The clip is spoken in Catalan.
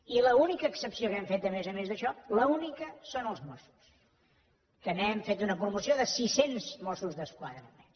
i l’única excepció que hem fet a més a més d’això l’única són els mossos que n’hem fet una promoció de sis cents mossos d’esquadra més